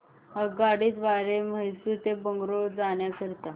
आगगाडी द्वारे मैसूर ते बंगळुरू जाण्या करीता